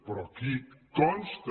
però aquí consta